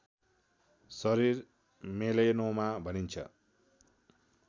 शरीर मेलेनोमा भनिन्छ